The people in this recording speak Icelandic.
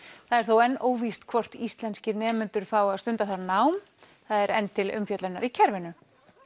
það er þó enn óvíst hvort íslenskir nemendur fái að stunda þar nám það er enn til umfjöllunar í kerfinu